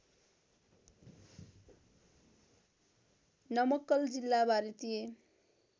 नमक्कल जिल्ला भारतीय